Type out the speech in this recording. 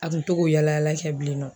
A kun to k'o yaala yaala kɛ bilen nɔ.